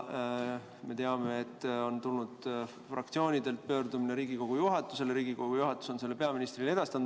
Me teame, et ka fraktsioonidelt on tulnud pöördumine Riigikogu juhatusele ja Riigikogu juhatus on selle peaministrile edastanud.